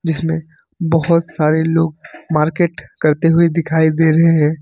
जिसमें बहोत सारे लोग मार्केट करते हुए दिखाई दे रहे हैं।